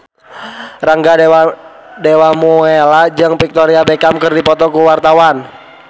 Rangga Dewamoela jeung Victoria Beckham keur dipoto ku wartawan